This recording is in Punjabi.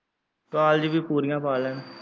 ਕਾਲਜ ਵੀ ਪੂਰੀਆਂ ਪਾ ਲੈਣ।